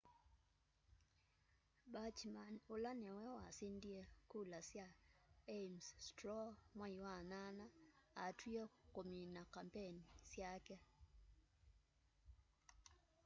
bachmann ũla nĩwe wasindie kula sya ames straw mwai wa nyanya atw'ie kũmina kambeni syake